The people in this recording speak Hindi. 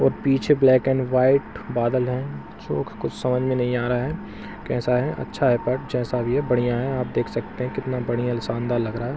पीछे ब्लैक एंड व्हाइट बादल हैं जो कि कुछ समझ में नहीं आ रहा है कैसा है अच्छा है पर जैसा भी है बढ़िया है आप देख सकते हैं कितना बढ़िया शानदार लग रहा है।